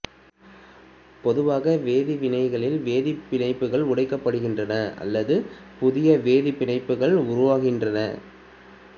பொதுவாக வேதிவினைகளில் வேதிப் பிணைப்புகள் உடைக்கப்படுகின்றன அல்லது புதிய வேதிப் பிணைப்புகள் உருவாகின்றன